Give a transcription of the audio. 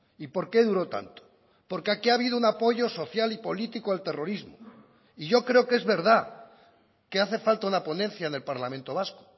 y por qué duro tanto porque aquí ha habido un apoyo social y político al terrorismo y yo creo que es verdad que hace falta una ponencia en el parlamento vasco